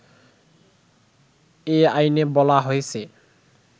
এ আইনে বলা হয়েছে